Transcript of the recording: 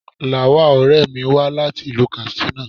Lawal, ọ̀rẹ́ mi wá láti ìlú Katsina.